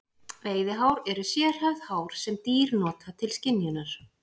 Veiðihár eru sérhæfð hár sem dýr nota til skynjunar.